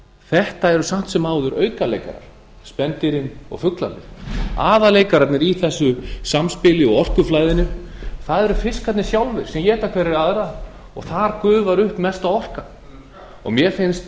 þetta eru samt sem áður aukaleikarar spendýrin og fuglarnir aðalleikararnir í þessu samspili og orkuflæðinu eru fiskarnir sjálfirsem éta hverjir aðra og mér finnst